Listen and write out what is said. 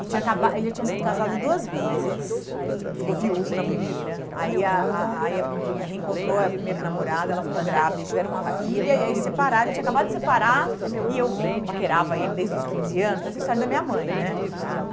Ele acaba ele já tinha sido casado duas vezes, ele ficou viúvo na primeira, aí a a a reencontrou a primeira namorada, ela ficou grávida, eles tiveram uma filha, e aí separaram, ele tinha acabado de separar, e eu paquerava ele desde os quinze anos, parece a história da minha mãe, né? Uhum.